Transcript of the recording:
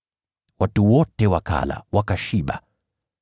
Watu wote wakala, wakashiba.